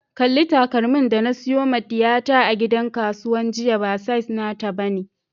Kalli takalmin da na siyo ma diyata a gidan kasuwa jiya, ba size nata ba ne.